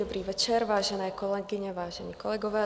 Dobrý večer, vážené kolegyně, vážení kolegové.